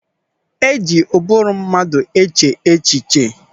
E ji ụbụrụ mmadụ eche echiche.